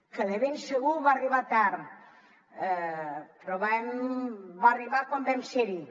que de ben segur va arribar tard però va arribar quan vam ser hi